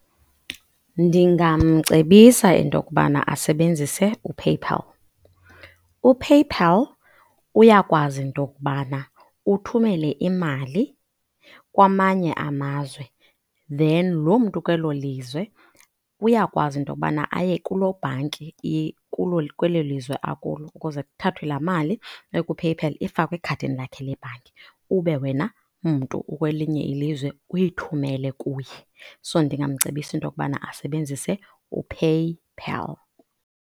Ndingamcebisa into yokubana asebenzise uPayPal. UPayPal uyakwazi into yokubana uthumele imali kwamanye amazwe then loo mntu ukwelo lizwe uyakwazi into kubana aye kuloo bhanki ikulo ikwelo lizwe akulo ukuze kuthathwe laa mali ekuPayPal ifakwe ekhadini lakhe lebhanki ube wena mntu ukwelinye ilizwe uyithumele kuye. So, ndingamcebisa into yokubana asebenzise uPayPal.